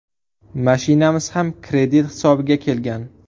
Mashinamiz ham kredit hisobiga kelgan.